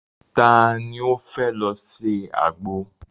Ta ni ó fẹ́ lọ se àgbo?